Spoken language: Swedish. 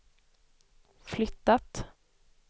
flyttat